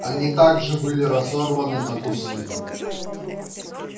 они также были разорваны на куски